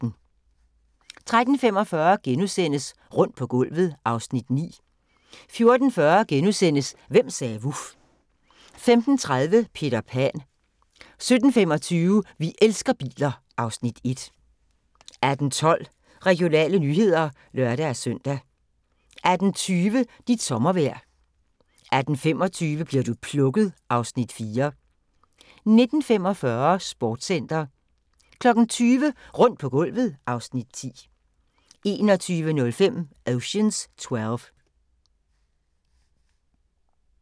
13:45: Rundt på gulvet (Afs. 9)* 14:40: Hvem sagde vuf? (Afs. 4)* 15:30: Peter Pan 17:25: Vi elsker biler (Afs. 1) 18:12: Regionale nyheder (lør-søn) 18:20: Dit sommervejr 18:25: Bli'r du plukket? (Afs. 4) 19:45: Sportscenter 20:00: Rundt på gulvet (Afs. 10) 21:05: Ocean's Twelve